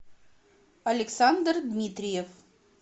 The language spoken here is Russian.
александр дмитриев